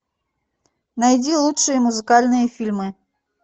найди лучшие музыкальные фильмы